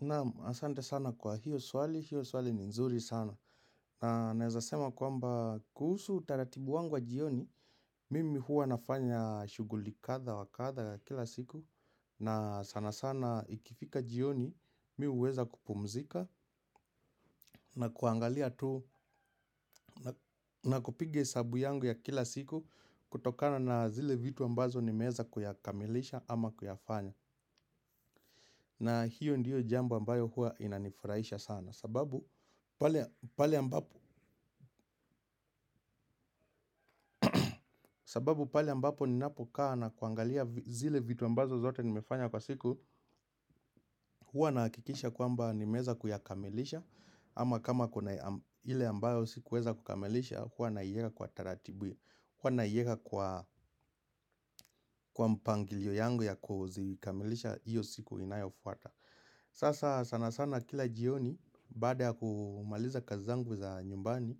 Naam asante sana kwa hiyo swali, hiyo swali ni nzuri sana Naeza sema kwamba kuhusu utaratibu wangu wa jioni Mimi huwa nafanya shughuli kadha wa kadha kila siku na sana sana ikifika jioni mi huweza kupumzika na kuangalia tu na kupiga hesabu yangu ya kila siku kutokana na zile vitu ambazo nimeeza kuyakamilisha ama kuyafanya na hiyo ndiyo jambo ambayo huwa inanifurahisha sana sababu pale ambapo ninapokaa na kuangalia zile vitu ambazo zote nimefanya kwa siku Huwa na hakikisha kwamba nimeeza kuyakamilisha ama kama kuna ile ambayo sikuweza kukamilisha huwa naiweka kwa taratibu Huwa naiweka kwa mpangilio yangu ya kuzikamilisha Iyo siku inayofuata Sasa sana sana kila jioni baada ya kumaliza kazi zangu za nyumbani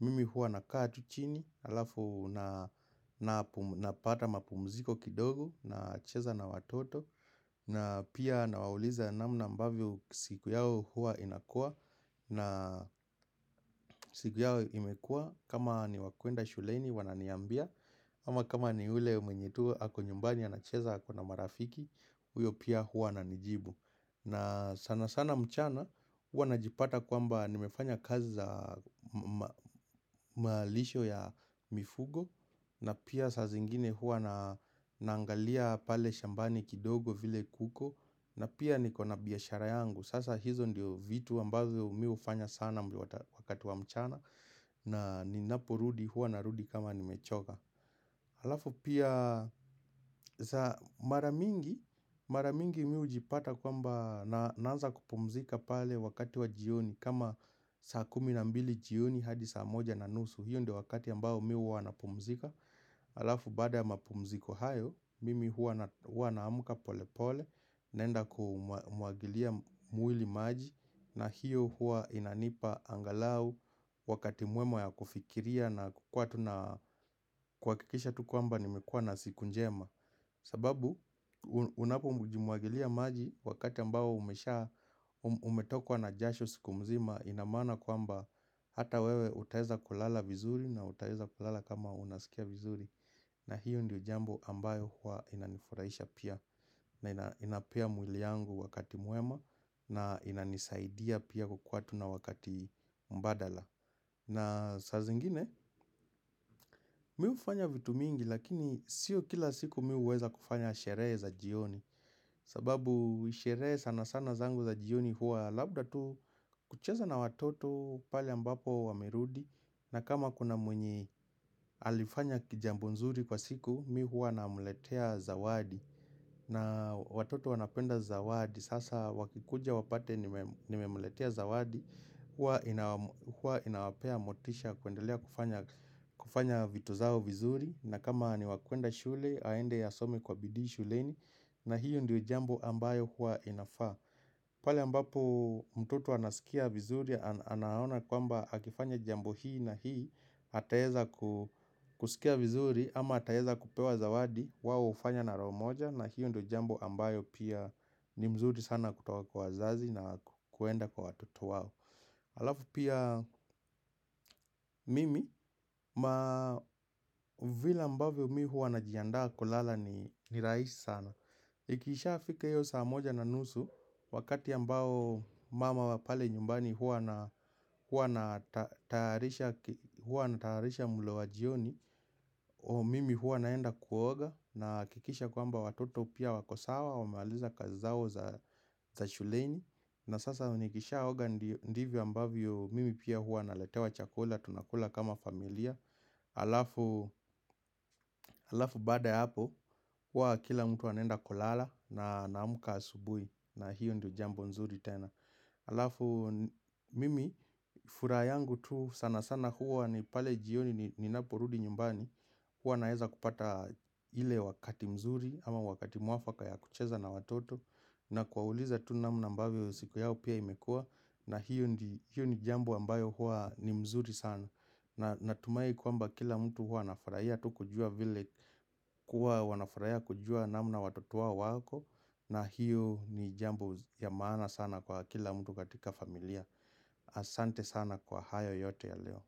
Mimi huwa nakaa tu chini alafu na napata mapumziko kidogo nacheza na watoto na pia nawauliza namna ambavyo siku yao huwa inakuwa na siku yao imekuua kama ni wa kuenda shuleni wananiambia ama kama ni ule mwenye tu ako nyumbani anacheza ako na marafiki huyo pia huwa ananijibu na sana sana mchana huwa najipata kwamba nimefanya kazi za malisho ya mifugo na pia saa zingine huwa naangalia pale shambani kidogo vile kuko na pia niko na biashara yangu Sasa hizo ndio vitu ambazo mi hufanya sana wakati wa mchana na ninaporudi huwa narudi kama nimechoka Halafu pia mara mingi Mara mingi mi hujipata kwamba naanza kupumzika pale wakati wa jioni kama saa kumi na mbili jioni hadi saa moja na nusu hiyo ndio wakati ambao mi huwa napumzika Alafu baada ya mapumziko hayo, mimi huwa naamka pole pole naenda kumwagilia mwili maji na hiyo huwa inanipa angalau wakati mwema ya kufikiria na kuwa tuna kuhakikisha tu kwamba nimekuwa na siku njema sababu unapoji mwagilia maji wakati ambao umesha Umetokwa na jasho siku mzima ina maana kwamba Hata wewe utaeza kulala vizuri na utaeza kulala kama unasikia vizuri na hiyo ndiyo jambo ambayo huwa inanifurahisha pia na inapea mwili yangu wakati mwema na inanisaidia pia kukuwa tu na wakati mbadala. Na saa zingine, mi hufanya vitu mingi lakini sio kila siku mi huweza kufanya sherehe za jioni. Sababu sherehe sana sana zangu za jioni huwa labda tu kucheza na watoto pale ambapo wamerudi. Na kama kuna mwenye alifanya kijambo nzuri kwa siku, mi huwa namuletea zawadi na watoto wanapenda zawadi, sasa wakikuja wapate nimemletea zawadi Huwa inawapea motisha kuendelea kufanya kufanya vitu zao vizuri na kama ni wa kuenda shule, aende asome kwa bidii shuleni na hiyo ndio jambo ambayo huwa inafaa pale ambapo mtoto anasikia vizuri anaona kwamba akifanya jambo hii na hii ataeza ku kusikia vizuri ama ataeza kupewa zawadi wao hufanya na roho moja na hiyo ndo jambo ambayo pia ni mzuri sana kutoka kwa wazazi na kuenda kwa watoto wao. Alafu pia mimi ma vile ambavyo mimi huwa najiandaa kulala ni rahisi sana Ikishafika iyo saa moja na nusu wakati ambao mama wa pale nyumbani huwa ana huwa anatayarisha mlo wa jioni Mimi huwa naenda kuoga na hakikisha kwamba watoto pia wako sawa wamemaliza kazi zao za shuleni na sasa nikisha oga ndivyo ambavyo mimi pia huwa naletewa chakula, tunakula kama familia Alafu baada hapo, huwa kila mtu anaenda kulala na anamka asubuhi na hiyo ndio jambo nzuri tena Alafu mimi, furaha yangu tu sana sana huwa ni pale jioni ninaporudi nyumbani Huwa naeza kupata ile wakati mzuri ama wakati mwafaka ya kucheza na watoto na kuwauliza tu namna ambavyo siku yao pia imekuwa na hiyo ni jambo ambayo huwa ni mzuri sana Natumai kwamba kila mtu huwa anafurahia tu kujua vile kuwa wanafurahia kujua namna watoto wao wako na hiyo ni jambo ya maana sana kwa kila mtu katika familia Asante sana kwa hayo yote ya leo.